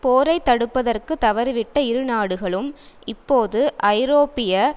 போரைத்தடுப்பதற்கு தவறிவிட்ட இரு நாடுகளும் இப்போது ஐரோப்பிய